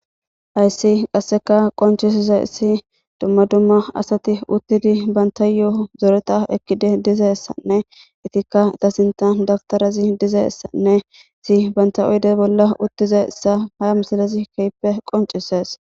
hayssi qasseka qonchisiza issi dumma dumma asati uttidi banta yoo zoreta ekkide dizaessanne itikka ta sintan dabtarazi dizayssanne isi banta oyde bolla uttiza issa ha misalazi kehippe qoncisees